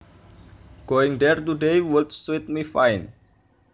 Going there today would suit me fine